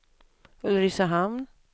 Ulricehamn